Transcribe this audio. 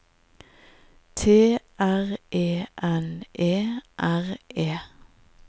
T R E N E R E